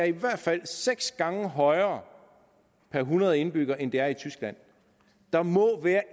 i hvert fald er seks gange højere per hundrede indbyggere end det er i tyskland der må være